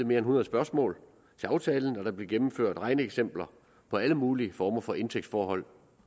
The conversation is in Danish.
mere end hundrede spørgsmål til aftalen og der blev gennemført regneeksempler på alle mulige former for indtægtsforhold